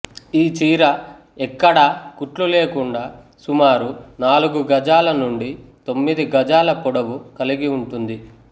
ఈ చీర ఎక్కడా కుట్లు లేకుండా సుమారు నాలుగు గజాల నుండి తొమ్మిది గజాల పొడవు కలిగి ఉంటుంది